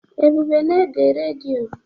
Ebube na-ege redio.